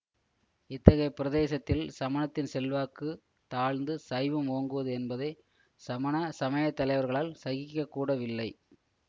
இத்தகைய பிரதேசத்தில் சமணத்தின் செல்வாக்கு தாழ்ந்து சைவம் ஓங்குவது என்பதை சமண சமயத்தலைவர்களால் சகிக்கக்கூட வில்லை